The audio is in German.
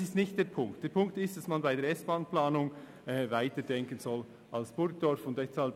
Dies ist aber nicht der Punkt, sondern die Idee, dass bei der SBahn-Planung weiter als bis Burgdorf gedacht werden soll.